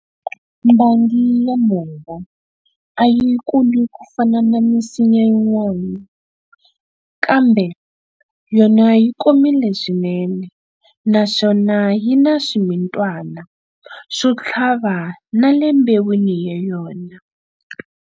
Mbangi ya nhova a yi kuli ku fana na misinya yinwana, kambe yona yi komile swinene naswona yi na swimitwana swo tlhava na le mbewini ya yona.